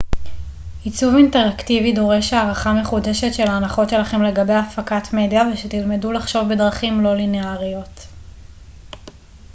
עיצוב אינטראקטיבי דורש הערכה מחודשת של ההנחות שלכם לגבי הפקת מדיה ושתלמדו לחשוב בדרכים לא ליניאריות